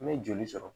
I bɛ joli sɔrɔ